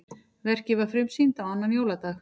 Verkið var frumsýnt á annan jóladag